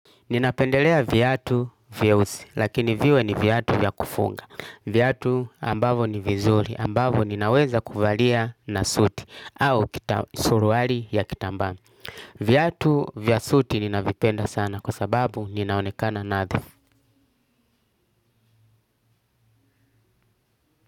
Ninapendelea viatu vyeusi, lakini viwe ni viatu vya kufunga. Viatu ambavo ni vizuri, ambavo ninaweza kuvalia na suti, au suruali ya kitambaa. Viatu vya suti ninavipenda sana kwa sababu ninaonekana nadhifu.